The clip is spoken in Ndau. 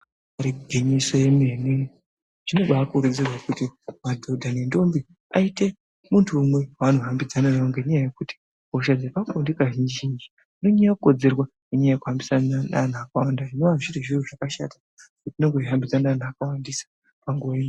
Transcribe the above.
Igwinyiso remene zvinobakurudzirwa maningi kuti madhodha nendombi aite muntu umwe waanohambidzana naye ngekuti hosha dzepabonde kazhinji zhinji inonyanya kukonzerwa nenyaya yekuhambidzana neantu akawanda zvinova zviri zviro zvakashata kuti unenge uchihambidzana neantu akawanda panguva imwe.